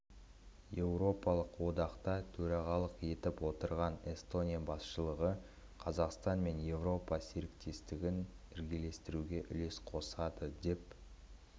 еуропалық одақта төрағалық етіп отырған эстония басшылығы қазақстан мен еуропа серіктестігін ілгерілетуге үлес қосады деп